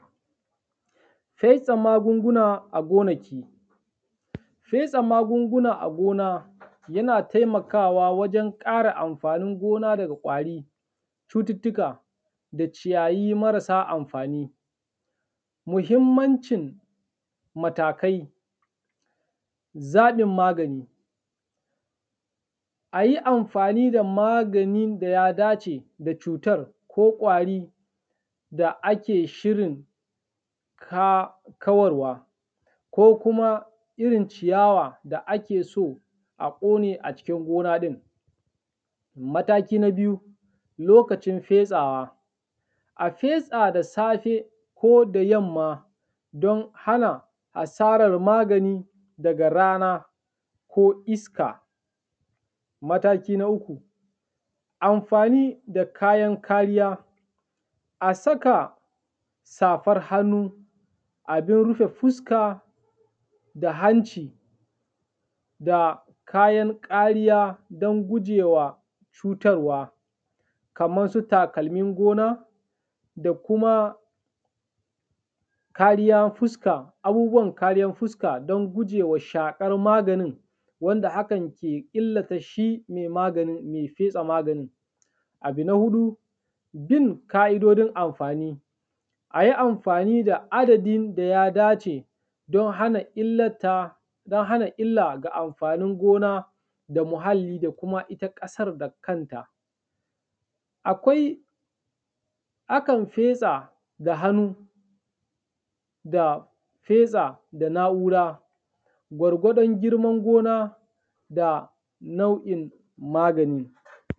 Fetsa magungna a gonaki. Fetsa magunguna a gona yana taimkawa wajen ƙara amfanin gona daga ƙwari, cututtuka da ciyayi marasa amfani. Muhimmancin matakai, zaɓin magani: A yi amfani da maganin da ya dace da cutan ko ƙwari da ake shirin ka kawar wa, ko kuma irin ciyawa da ake so a ƙone aciki gona ɗin. Mataki na biyu lokacin fetsawa: A fetsa da safe ko da yamma don hana asarar magani daga rana ko iska. Mataki na uku, amfani da kayan kariya: A saka safar hannu, abin rufe fuska, da hanci da kayan ƙariya don gujewa cutarwa. Kamar su takalmin gona da kuma kariyan fuska, abubuwan kariyan fuska don gujewa shaƙar maganin wanda hakan ke illata shi mai maganin mai fetsa maganin. Abu na huɗu, bin ka’idodin amfani: A yi amfani da adadin da ya dace don hana illata, don hana illa ga amfanin gona da muhalli da kuma ita ƙasar da kanta. Akwai, akan fetsa da hannu da fetsa da na’ura gwargwadon girman gona da nau’in maganin.